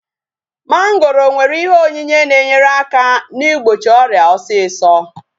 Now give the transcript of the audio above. Mongoro nwere ihe onyinye na-enyere aka na-igbochi ọrịa osisọ